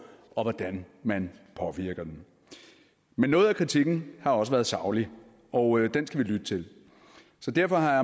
og hvordan man påvirker den men noget af kritikken har også været saglig og den skal vi lytte til så derfor har